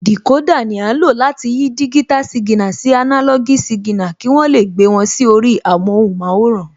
Dìkódà ni à ń lò láti yí digital signal sí analog signal, kí wọ́n lè gbé wọn sí orí amóhunmáwòrán